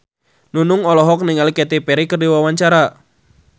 Nunung olohok ningali Katy Perry keur diwawancara